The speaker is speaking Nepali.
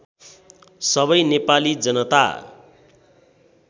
सबै नेपाली जनता